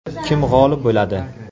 Kim g‘olib bo‘ladi?